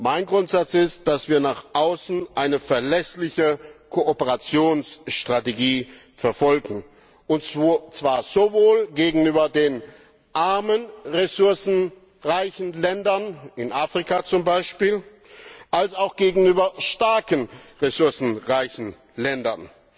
Mein Grundsatz ist, dass wir nach außen eine verlässliche Kooperationsstrategie verfolgen, und zwar sowohl gegenüber den ressourcenreichen armen Ländern in Afrika zum Beispiel als auch gegenüber ressourcenreichen starken Ländern.